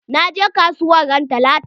Na je kasuwa ran talata.